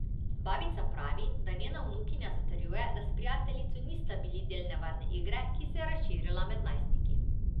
Babica pravi, da njena vnukinja zatrjuje, da s prijateljico nista bili del nevarne igre, ki se je razširila med najstniki.